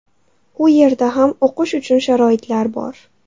U yerda ham o‘qish uchun sharoitlar bor.